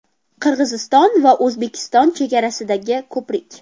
Qirg‘iziston va O‘zbekiston chegarasidagi ko‘prik.